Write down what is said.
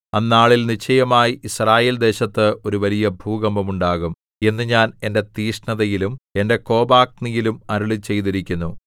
അന്നാളിൽ നിശ്ചയമായി യിസ്രായേൽ ദേശത്ത് ഒരു വലിയ ഭൂകമ്പം ഉണ്ടാകും എന്ന് ഞാൻ എന്റെ തീക്ഷ്ണതയിലും എന്റെ കോപാഗ്നിയിലും അരുളിച്ചെയ്തിരിക്കുന്നു